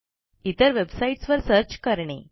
इतर वेबसाईटस वर सर्च करणे